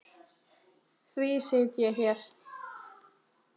Því sit ég hér.